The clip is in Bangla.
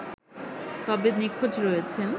তবে নিখোঁজ রয়েছেন